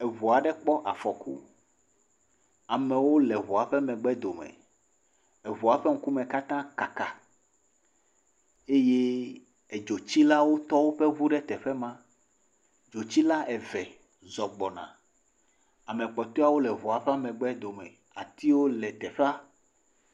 Eŋu aɖe kpɔ afɔku, amewo le eŋua ƒe megbedome. Eŋua ƒe ŋkume katã kaka eye edzotsilawo tɔ woƒe ŋu ɖe teƒe ma. Dzotsila eve zɔ gbɔna. Ame kpɔtɔeawo le ŋua ƒe megbedome. Atiwo le teƒea.